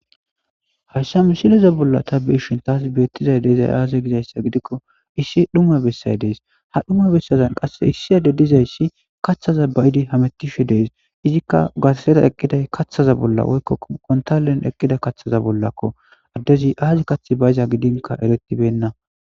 hayssa misileza bolla ta beishin taas beettizay deezay aaze gizayssa gidikko issi dhuma bessay dees ha dhuma bessazan qasse issi ade dizayssi kaththaza bayidi hametishe dees izikka gatsera eqqiday kaththaza bolla woykkoo kontalen eqqida kaththaza bollakko addezi aazi kath bayiza gidinka eretibenna.